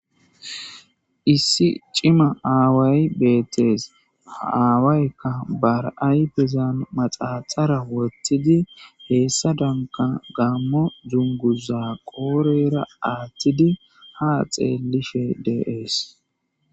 Issi cima aawayi beteesi ha aawayikka ba ayifezani manaxara woththidi hessadanikka deetesi Gamo duniguzara qodhera aaththidi haa xeelishe deesi